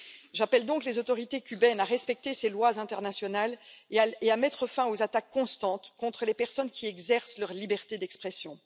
J'invite donc les autorités cubaines à respecter ces lois internationales et à mettre fin aux attaques constantes contre les personnes qui exercent leur liberté d'expression.